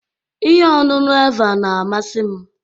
Ihe ọṅụṅụ Eva na-amasị m